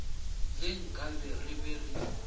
ge nkabe re be re